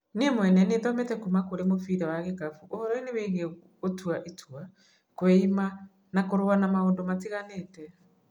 Niĩ mwene nĩ thomete kuma kũrĩ mũbira wa gĩkabũ ũhoroinĩ wigiĩ gũtwa itua, kũiima, na kũrũa na maũndũ matiganĩte